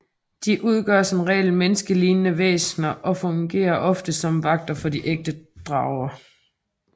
De undgår som regel menneskelignende væsner og fungerer ofte som vagter for de ægte drager